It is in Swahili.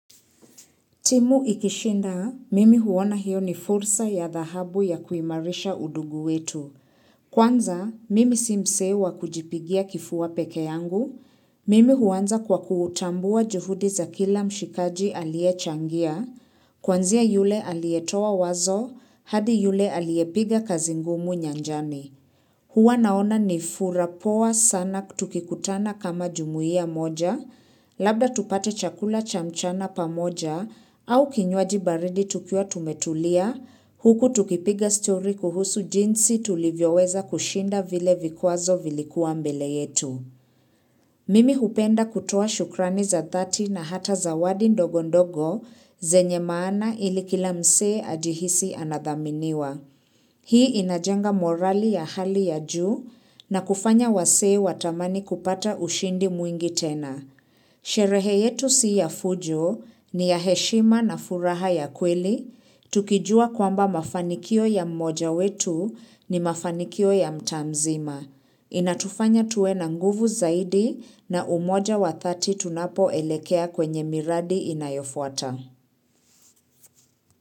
Timu ikishinda, mimi huona hiyo ni fursa ya dhahabu ya kuimarisha udugu wetu. Kwanza, mimi si msee wa kujipigia kifua pekee yangu. Mimi huanza kwa kuutambua juhudi za kila mshikaji aliechangia. Kwanzia yule aliyetoa wazo, hadi yule aliyepiga kazi ngumu nyanjani. Huwa naona ni fursa poa sana tukikutana kama jumuia moja, labda tupate chakula cha mchana pamoja au kinywaji baridi tukiwa tumetulia, huku tukipiga story kuhusu jinsi tulivyo weza kushinda vile vikwazo vilikuwa mbele yetu. Mimi hupenda kutoa shukrani za 30 na hata zawadi ndogo ndogo zenye maana ili kila msee ajihisi anadhaminiwa. Hii inajenga morali ya hali ya juu na kufanya wasee watamani kupata ushindi mwingi tena. Sherehe yetu si ya fujo ni ya heshima na furaha ya kweli, tukijua kwamba mafanikio ya mmoja wetu ni mafanikio ya mtaa mzima. Inatufanya tuwe na nguvu zaidi na umoja wa 30 tunapoelekea kwenye miradi inayofuata.